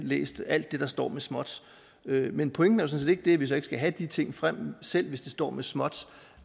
læst alt det der står med småt men pointen er set ikke at vi så ikke skal have de ting frem selv ikke hvis de står med småt